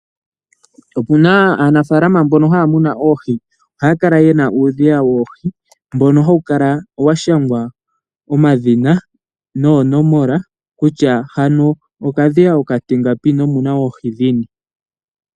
Okuna aanafaalam mbono haya munu Oohi, ohaya kala yena uudhiya woohi mbono hawu kala wa shangwa omadhina noonomola kutya hano okadhiya okatingapi nomuna Oohi dhini.